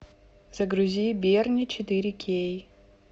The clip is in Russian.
загрузи берни четыре кей